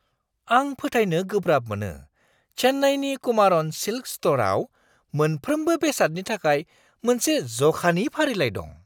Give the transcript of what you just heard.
आं फोथायनो गोब्राब मोनो चेन्नाईनि कुमारन सिल्क स्ट'रआव मोनफ्रोमबो बेसादनि थाखाय मोनसे जखानि फारिलाइ दं!